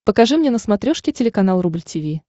покажи мне на смотрешке телеканал рубль ти ви